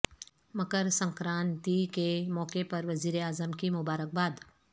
مکر سکرانتی کے موقع پر وزیر اعظم کی مبارکباد